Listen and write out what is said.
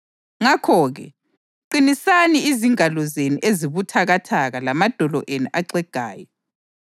Ngakho-ke, qinisani izingalo zenu ezibuthakathaka lamadolo enu axegayo.